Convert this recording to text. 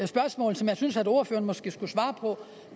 spørgsmål som jeg synes ordføreren måske skulle svare på